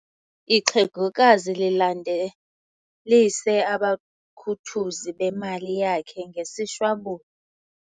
Ixhegokazi lilandelise abakhuthuzi bemali yakhe ngesishwabulo.